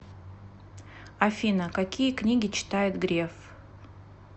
афина какие книги читает греф